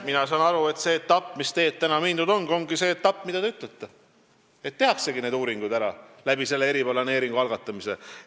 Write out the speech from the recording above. Mina saan aru, et see tee, mida mööda praegu on mindud, ongi see etapp, mida te ütlete – tehaksegi uuringud ära eriplaneeringu algatamise käigus.